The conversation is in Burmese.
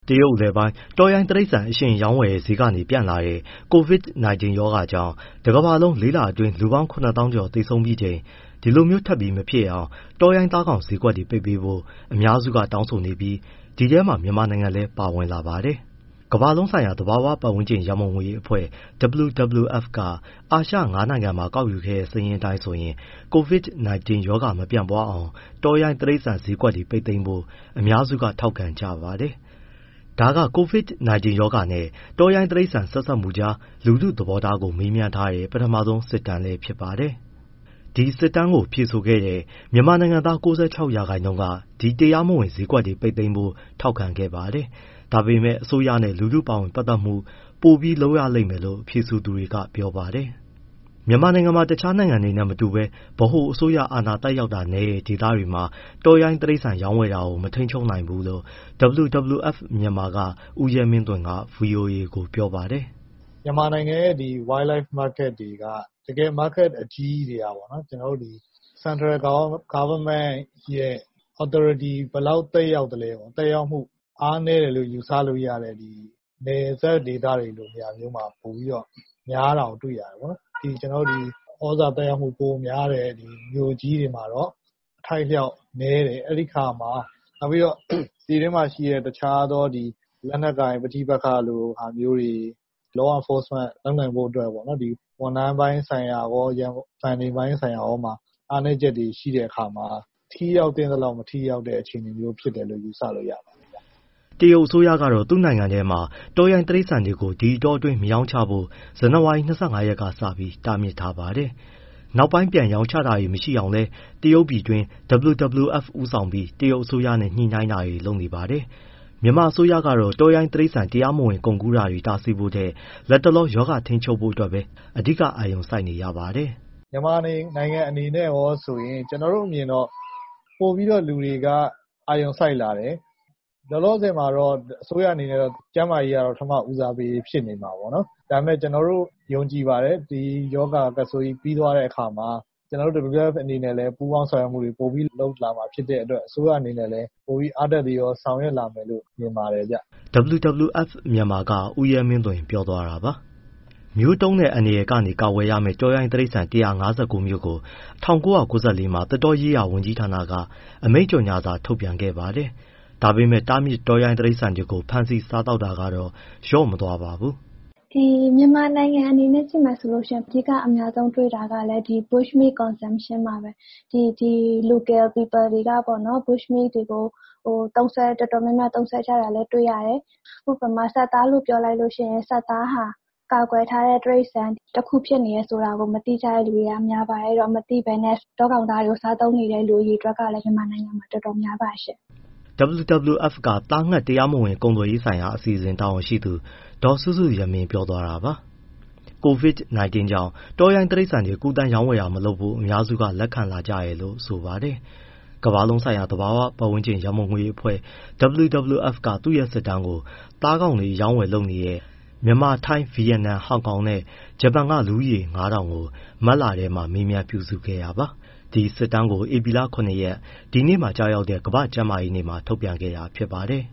တရုတ်အလယ်ပိုင်း၊ တောရိုင်းတိရစ္ဆာန်အရှင်ရောင်းဝယ်တဲ့ ဈေးကနေ ပြန့်လာတဲ့ COVID-19 ရောဂါကြောင့် တကမ္ဘာလုံးမှာ လေးလအတွင်း လူပေါင်း ၇၀,၀၀၀ ကျော် သေဆုံးပြီးချိန် ဒီလိုမျိုးထပ်ပြီး မဖြစ်အောင် တောရိုင်းသားကောင် ဈေးကွက်တွေ ပိတ်ပေးဖို့ အများစုက တောင်းဆိုနေပြီး ဒီအထဲမှာ မြန်မာနိုင်ငံလည်း ပါဝင်လာပါတယ်။ ဒီအကြောင်း ဗွီအိုအေ မြန်မာပိုင်း သတင်းထောက် ကိုဇော်ထက်က တင်ပြပေးပါမယ်။ ကမ္ဘာလုံးဆိုင်ရာ သဘာဝပတ်ဝန်းကျင် ရန်ပုံငွေအဖွဲ့ WWF က အာရှငါးနိုင်ငံမှာ ကောက်ခဲ့တဲ့ စစ်တမ်းအတိုင်းဆိုရင် COVID-19 ရောဂါမပြန့်ပွားအောင် တောရိုင်းတိရစ္ဆာန်ဈေးကွက်တွေ ပိတ်သိမ်းဖို့ အများစုက ထောက်ခံကြပါတယ်။ ဒါက COVID-19 ရောဂါနဲ့ တောရိုင်းတိရစ္ဆာန် ဆက်စပ်မှုကြား လူထုသဘောထားကို မေးထားတဲ့ ပထမဆုံး စစ်တမ်းလည်းဖြစ်ပါတယ်။ စစ်တမ်းကို ဖြေဆိုခဲ့တဲ့ မြန်မာနိုင်ငံသား ၉၆ ရာခိုင်နှုန်းက ဒီတရားမဝင် ဈေးကွက်တွေ ပိတ်ပေးဖို့ ထောက်ခံခဲ့ပါတယ်။ ဒါပေမဲ့လည်း အစိုးရနဲ့ လူထု ပါဝင်ပတ်သတ်မှု ပိုပြီးလုပ်ရလိမ့်မယ်လို့ ဖြေဆိုသူတွေကပြောပါတယ်။ ☞ ကိုရိုနာဗိုင်းရပ်စ်နဲ့ ပတ်သက်လို့ သိထားသင့်သည့်အချက်များကိုလည်း ဒီမှာ ဖတ်နိုင်ပါပြီ။ မြန်မာနိုင်ငံမှာ တခြားနိုင်ငံနဲ့ မတူဘဲ ဗဟိုအစိုးရ အာဏာသက်ရောက်တာနည်းတဲ့ ဒေသတွေမှာ တောရိုင်းတိရစ္ဆာန်ရောင်းဝယ်တာကို မထိန်းချုပ်နိုင်ဘူးလို့ WWF Myanmar က ဦးရဲမင်းသွင်က ဗွီအိုအေကို ပြောပါတယ်။ “မြန်မာနိုင်ငံရဲ့ ဒီ Wild life market တွေက တကယ် market အကြီးကြီးတွေက ကျနော်တို့ central government ရဲ့ authority ဘယ်လောက် သက်ရောက်လဲပေါ့၊ သက်ရောက်မှု အားနည်းတယ်လို့ ယူဆလို့ရတဲ့ နယ်စပ်ဒေသတွေလို နေရာမျိုးမှာ များတာကို တွေ့ရတယ်ပေါ့။ ကျနော်တို့ ဒီ ဩဇာ သက်ရောက်မှု ပိုများတဲ့ မြို့ကြီးတွေမှာတော့ အထိုက်အလျှောက်နည်းတယ် အဲဒီအခါမှာ ပြည်တွင်းမှာရှိတဲ့ တခြားသော လက်နက်ကိုင် ပဋိပက္ခလို ဟာမျိုးတွေ၊ law enforcement လုပ်နိုင်ဖို့အတွက် ဝန်ထမ်းပိုင်းဆိုင်ရာရော funding ပိုင်းဆိုင်ရာရောပါ အားနည်းချက်တွေ ရှိတဲ့အခါမှာ ထိရောက်သင့်သလောက် မထိရောက်တဲ့ အခြေအနေမျိုး ဖြစ်တယ်လို့ ယူဆလို့ရပါတယ်။” တရုတ်အစိုးရကတော့ သူ့နိုင်ငံထဲမှာ တောရိုင်းတိရိစ္ဆာန်တွေ ဒီအတောအတွင်း မရောင်းချဖို့ ဇန်နဝါရီ ၂၅ ရက်ကစပြီး တားမြစ်ထားပါတယ်။ နောက်ပိုင်း ပြန်ရောင်းချတာတွေ မရှိအောင်လည်း တရုတ်ပြည်တွင်းက WWF ဦးအောင်ပြီး တရုတ်အစိုးရနဲ့ ညှိနှိုင်းတာတွေ လုပ်နေပါတယ်။ မြန်မာအစိုးရကတော့ တောရိုင်းတိရစ္ဆာန် တရားမဝင်ကုန်ကူးတာတွေ တားဆီးဖို့ထက် လက်တလော ရောဂါထိန်းချုပ်ဖို့ပဲ အဓိက အာရုံစိုက်နေရပါတယ်။ “မြန်မာနိုင်ငံအနေနဲ့ဆိုရင် ကျနော်တို့အမြင်က ပိုပြီးတော့ လူတွေက အာရုံစိုက်လာတယ်။ လောလောဆယ်တော့ အစိုးရအနေနဲ့ကတော့ ကျန်းမာရေးက ပထမဦးစားပေး ဖြစ်နေမှာပေါ့။ ဒါပေမဲ့ ကျနော်တို့ ယုံကြည်ပါတယ် ဒီရောဂါ ကပ်ဆိုးကြီး ပြီးသွားတဲ့အခါမှာ ကျနော်တို့ WWF အနေနဲ့လည်း ပူးပေါင်း ဆောင်ရွက်မှုတွေ ပိုပြီးလုပ်လာမှာဖြစ်တဲ့အတွက်အစိုးရလည်း အားတက်သရော ဆောင်ရွက်လာမယ်လို့ မြင်ပါတယ်။” WWF- Myanmar က ဦးရဲမင်းသွင်ပြောသွားတာပါ။ မျိုးသုဉ်းတဲ့ အန္တရာယ်ကနေ ကာကွယ်ရမယ့် တောရိုင်း တိရစ္ဆာန် အမျိုးအစား ၁၅၉ မျိုးကို အစိုးရက ၁၉၉၄ မှာ သစ်တောရေးရာ ဝန်ကြီးဌာနက အမိန့်ကြော်ငြာစာထုတ်ပြန်ခဲ့ပါတယ်။ ဒါပေမဲ့ တားမြစ်တောရိုင်းတိရိစ္ဆာန်တွေကို ဖမ်းဆီး စားသောက်တာကတော့ လျော့မသွားပါဘူး။ “မြန်မာနိုင်ငံအနေနဲ့ ကြည့်မယ်ဆိုရင် အဓိက အများဆုံးတွေ့တာကလည်း ဒီ bushmeat consumption (တောကောင်သား စားသုံးမှု) ပါပဲ။ ဒီ local people တွေကပေါ့ bushmeat တွေကို တော်တော်များများ သုံးစွဲတတ်တာလည်း တွေ့ရတယ်။ ဥပမာ ဆတ်သားလို့ပြောလိုက်ရင် ဆတ်သားဟာ ကာကွယ်ထားတဲ့ တိရစ္ဆာန် တခုဖြစ်နေတယ် ဆိုတာကို မသိကြတဲ့သူတွေက များပါတယ်။ အဲဒီတော့ မသိဘဲ တောကောင်သားတွေကို စားသုံးနေတဲ့ အရေအတွက်ကလည်း မြန်မာနိုင်ငံမှာ တော်တော်များပါတယ်ရှင့်။” WWF က သားငှက်တရားမဝင် ကုန်သွယ်ရေးဆိုင်ရာအစီအစဉ် တာဝန်ရှိသူ ဒေါ်စုစုယမင်း ပြောသွားတာပါ။ COVID-19 ကြောင့် တောရိုင်းတိရိစ္ဆာန်တွေ ကူးသန်းရောင်းဝယ်တာ မလုပ်ဖို့ အများစုက လက်ခံလာကြတယ်လို့ ဆိုပါတယ်။ ကမ္ဘာလုံးဆိုင်ရာ သဘာဝပတ်ဝန်းကျင် ရန်ပုံငွေအဖွဲ့ WWF က သူ့ရဲ့ စစ်တမ်းကို သားကောင်တွေ အရောင်းအဝယ်လုပ်နေတဲ့ မြန်မာ၊ ထိုင်း၊ ဗီယက်နမ်၊ ဟောင်ကောင်နဲ့ ဂျပန် က လူဦးရေ ၅,၀၀၀ ကို မတ်လထဲမှာ မေးမြန်းပြုစုခဲ့တာပါ။ အဲဒီစစ်တမ်းကို ဧပြီလ ၇ ရက် ဒီနေ့မှာကျရောက်တဲ့ ကမ္ဘာ့ကျန်းမာရေးနေ့မှာ ထုတ်ပြန်ခဲ့တာ ဖြစ်ပါတယ်